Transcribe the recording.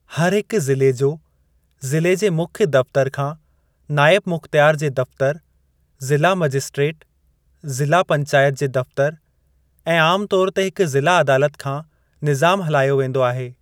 हर हिकु ज़िले जो ज़िले जे मुख्य दफ़तरु खां नाइबु मुख़्तियार जे दफ़्तरु, ज़िला मजिस्ट्रेट, ज़िला पंचायत जे दफ़तरु ऐं आम तौर ते हिकु ज़िला अदालत खां निज़ामु हलायो वेंदो आहे।